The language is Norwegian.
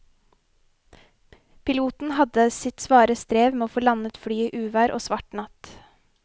Piloten hadde sitt svare strev med å få landet flyet i uvær og svart natt.